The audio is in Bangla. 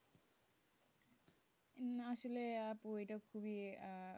না আসলে আপু এটা খুবই,